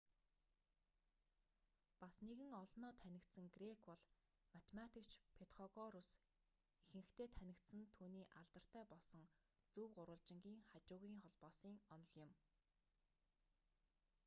бас нэгэн олноо танигдсан грек бол математикч петхогорус ихэнхдээ танигдсан нь түүний алдартай болсон зөв гурвалжингын хажуугын холбоосын онол юм